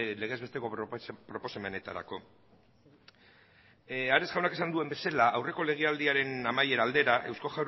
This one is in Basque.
legez besteko proposamenetarako ares jaunak esan duen bezala aurreko legealdiaren amaiera aldera